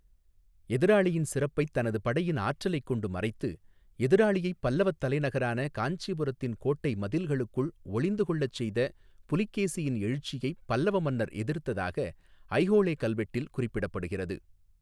எதிராளியின் சிறப்பைத் 'தனது படையின் ஆற்றலைக் கொண்டு மறைத்து' எதிராளியைப் பல்லவத் தலைநகரான காஞ்சிபுரத்தின் கோட்டை மதில்களுக்குள் ஒளிந்து கொள்ளச் செய்த புலிகேசியின் எழுச்சியைப் பல்லவ மன்னர் எதிர்த்ததாக ஐஹோளெ கல்வெட்டில் குறிப்பிடப்படுகிறது.